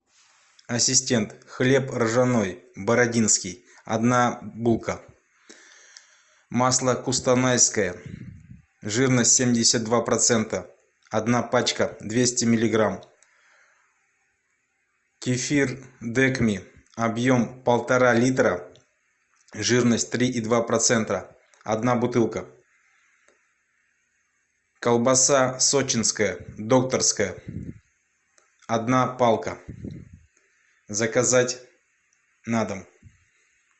ассистент хлеб ржаной бородинский одна булка масло кустанайское жирность семьдесят два процента одна пачка двести миллиграмм кефир декми объем полтора литра жирность три и два процента одна бутылка колбаса сочинская докторская одна палка заказать на дом